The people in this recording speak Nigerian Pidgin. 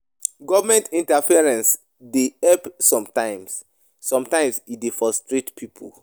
Government interferance dey help sometimes, sometimes e dey frustrate pipo